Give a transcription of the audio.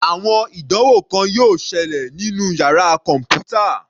Àwọn ìdánwò kan yóò ṣẹlẹ̀ nínú yàrá kọ̀npútà.